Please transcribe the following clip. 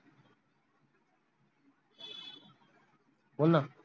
बोल ना